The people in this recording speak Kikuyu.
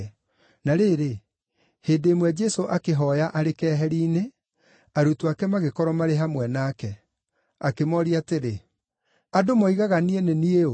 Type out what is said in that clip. Na rĩrĩ, hĩndĩ ĩmwe Jesũ akĩhooya arĩ keheri-inĩ, arutwo ake magĩkorwo marĩ hamwe nake. Akĩmooria atĩrĩ, “Andũ moigaga niĩ nĩ niĩ ũ?”